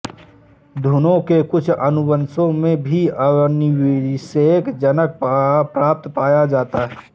घुनों के कुछ अनुवंशों में भी अनिषेक जनन प्राय पाया जाता है